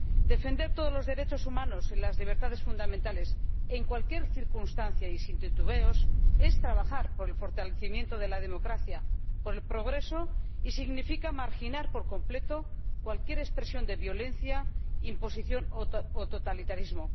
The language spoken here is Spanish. Defender todos los derechos humanos y las libertades fundamentales en cualquier circunstancia y sin titubeos es trabajar por el fortalecimiento de la democracia, por el progreso, y significa marginar por completo cualquier expresión de violencia, imposición o totalitarismo.